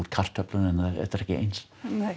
kartöflur en það er ekki eins